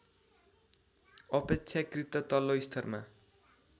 अपेक्षाकृत तल्लो स्तरमा